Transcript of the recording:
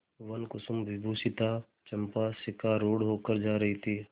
वनकुसुमविभूषिता चंपा शिविकारूढ़ होकर जा रही थी